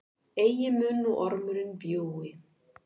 Eigi mun nú ormurinn bjúgi,